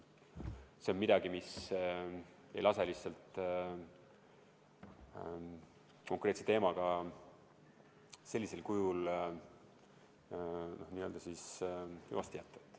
See on midagi, mis lihtsalt ei lase konkreetse teemaga sellisel kujul n-ö hüvasti jätta.